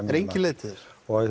er engin leið til þess